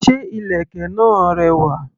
Ṣé ìlèkè náà rẹwà?